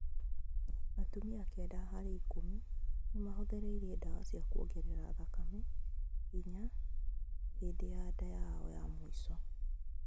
atumia kenda harĩ ikũmi nĩmahuthĩrire dawa cia kuongerera thakame hinya hĩndĩ ya nda yao ya mũico